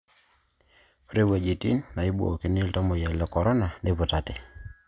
Ore wuejitin naibookini iltamuoyia le Corona niputate